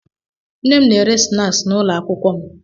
Nne m na-ere snaaskị n'ụlọ akwụkwọ m.